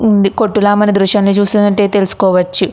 ఉంది కొట్టు లా మనం ఈ దృశ్యాన్ని చూసిందంటే తెలుసుకోవచ్చు.